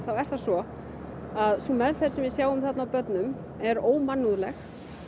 er það svo að sú meðferð sem við sjáum á börnum er ómannúðleg